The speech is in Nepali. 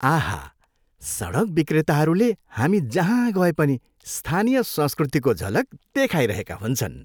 आहा, सडक विक्रेताहरूले हामी जहाँ गए पनि स्थानीय संस्कृतिको झलक देखाइरहेका हुन्छन्।